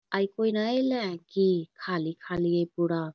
आय कोय नाय आएले है की खाली-खाली है पूरा।